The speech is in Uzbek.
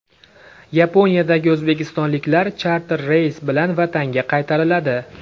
Yaponiyadagi o‘zbekistonliklar charter reys bilan vatanga qaytariladi.